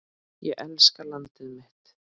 Ég elska landið mitt.